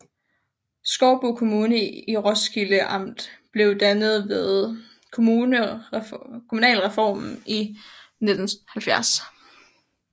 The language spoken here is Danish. Skovbo Kommune i Roskilde Amt blev dannet ved kommunalreformen i 1970